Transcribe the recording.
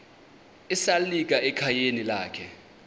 esalika ekhayeni lakhe